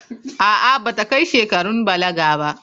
A'a, ba ta kai shekarun balaga ba.